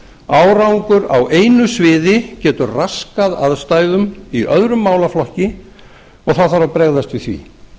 árangur á einu sviði getur raskað aðstæðum í öðrum málaflokki og þá þarf að bregðast við því